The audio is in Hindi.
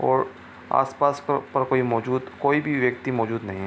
और आसपास प पर कोई मौजूद कोई भी व्यक्ति मौजूद नहीं है।